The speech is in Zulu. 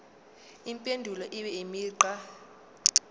impendulo ibe imigqa